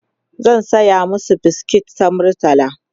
zan saya masu biskit ta murtala